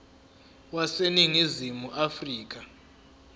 wase ningizimu afrika